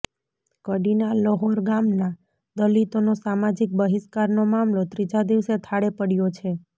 કડીના લ્હોર ગામના દલિતોનો સામાજીક બહિષ્કારનો મામલો ત્રીજા દિવસે થાળે પડ્યો છે